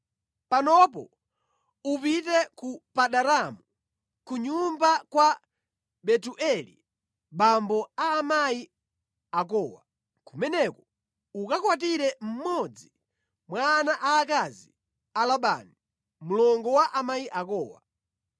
Panopo upite ku Padanaramu, ku nyumba kwa Betueli abambo a amayi akowa, kumeneko ukakwatire mmodzi mwa ana aakazi a Labani, mlongo wa amayi akowa.